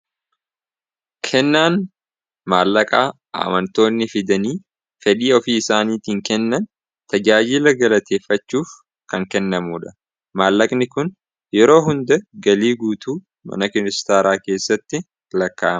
kennaan maallaqaa amantoonni fidanii fedhii ofii isaaniitiin kennan tajaajiila galateeffachuuf kan kennamuudha maallaqni kun yeroo hunda galii guutuu mana kiristaaraa keessatti lakkaa'a